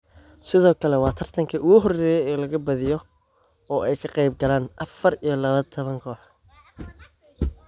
Sidoo kale waa tartankii ugu horeeyay ee la balaadhiyo oo ay ka qaybgalaan afar iyo labatan kooxood.